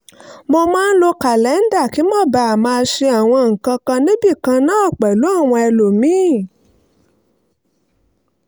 mo máa ń lo kàlẹ́ńdà kí n má baà máa ṣe àwọn nǹkan kan níbì kan náà pẹ̀lú àwọn ẹlòmíì